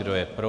Kdo je pro?